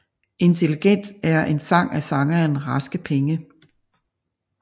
Intelligent er en sang af sangeren Raske Penge